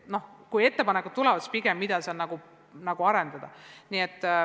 Kui ettepanekud tulevad, siis pigem selle kohta, mida seal edasi arendada.